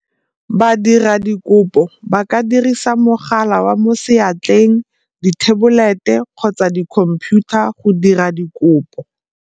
Badiradikopo ba ka dirisa mogala wa mo seatleng, dithebolete kgotsa di khomphiutha go dira dikopo.